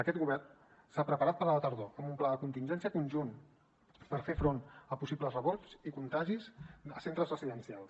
aquest govern s’ha preparat per a la tardor amb un pla de contingència conjunt per fer front a possibles rebrots i contagis a centres residencials